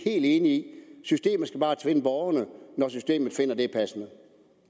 enig i bare tvinge borgerne når systemet finder at det er passende